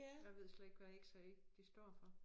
Jeg ved slet ikke hvad x-ray det står for